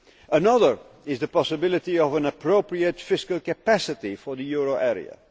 jobs. Another is the possibility of an appropriate fiscal capacity for the euro